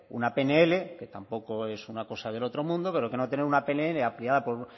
una pnl que tampoco es una cosa del otro mundo pero que no tener una pnl aprobada por